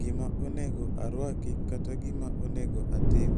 gima onego arwaki kata gima onego atim.